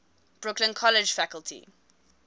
brooklyn college faculty